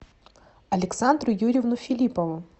александру юрьевну филиппову